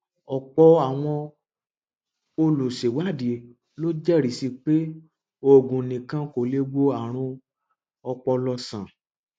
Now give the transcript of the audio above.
ọpọ àwọn olùṣèwádìí ló jẹrìí sí i pé oògùn nìkan kò lè wo àrùn ọpọlọ sàn